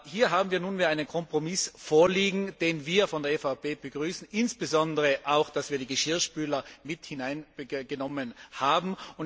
Hier haben wir nunmehr einen Kompromiss vorliegen, den wir von der EVP begrüßen, insbesondere auch dass wir die Geschirrspüler mit hineingenommen haben.